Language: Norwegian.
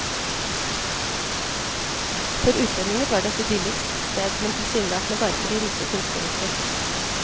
For utlendinger var det et idyllisk sted, men tilsynelatende bare for de rike og kunstneriske.